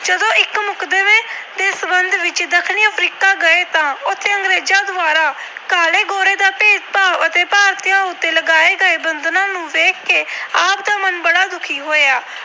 ਗਏ ਤਾਂ ਉਥੇ ਕਾਲੇ-ਗੋਰੇ ਦਾ ਭੇਦਭਾਵ ਅਤੇ ਭਾਰਤੀਆਂ ਉਤੇ ਲਗਾਏ ਗਏ ਬੰਧਨਾਂ ਨੂੰ ਦੇਖ ਕੇ ਆਪ ਦਾ ਮਨ ਬੜਾ ਦੁਖੀ ਹੋਇਆ।